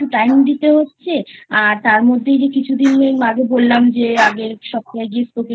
Time দিতে হচ্ছে আর তার মধ্যে এই যে কিছুদিন আগে বললাম যে আগের সপ্তাহে গিয়ে Spoken